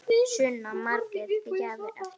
Sunna: Margar gjafir eftir?